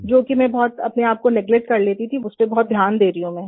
जो कि मैं बहुत अपने आप को नेगलेक्ट कर लेती थी उस पर बहुत ध्यान दे रही हूँ मैं